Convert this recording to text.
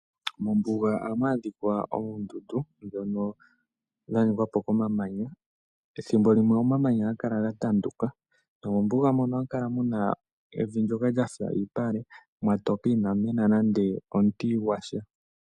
Mombuga ohamu adhikwa oondundu dhono dha ningwa po komamanya, ethimbo limwe omamanya ohaga kala ga tanduka, nomombuga mono ohamu kala evi ndyono lyafa iipale, mwatoka inamu mena nande omuti gwasha.